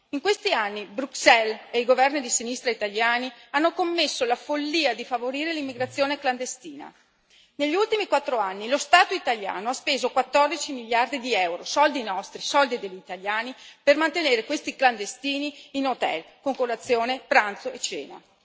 In questi anni Bruxelles e i governi di sinistra italiani hanno commesso la follia di favorire l'immigrazione clandestina. Negli ultimi quattro anni lo Stato italiano ha speso 14 miliardi di EUR soldi nostri, soldi degli italiani per mantenere questi clandestini in hotel con colazione, pranzo e cena.